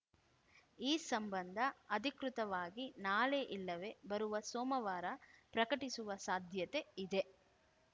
ಈ ಸಂಬಂಧ ಅಧಿಕೃತವಾಗಿ ನಾಳೆ ಇಲ್ಲವೆ ಬರುವ ಸೋಮವಾರ ಪ್ರಕಟಿಸುವ ಸಾಧ್ಯತೆ ಇದೆ